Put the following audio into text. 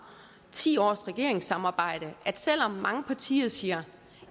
ti års regeringssamarbejde er at selv om mange partier siger